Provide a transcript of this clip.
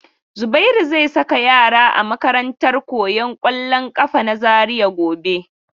Zubairu zai saka yara a makarantar koyan kwallon kafa na Zaria gobe.